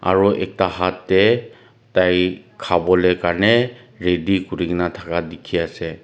aro ekta hat tae tai khawolae karni ready kurikaena thaka dikhiase.